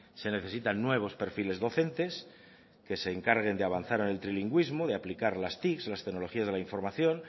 se necesitan nuevos perfiles docentes que se encarguen de avanzar en el trilingüismo de aplicar las tic las tecnologías de la información